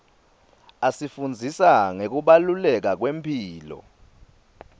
asifundzisa ngekubaluleka kwemphilo